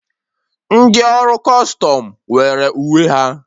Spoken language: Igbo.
Ndị ọrụ Kustum nwere uwe ha.